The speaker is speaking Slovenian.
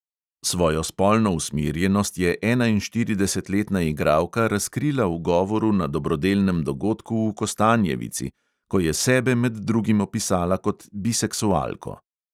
Svojo spolno usmerjenost je enainštiridesetletna igralka razkrila v govoru na dobrodelnem dogodku v kostanjevici, ko je sebe med drugim opisala kot biseksualko.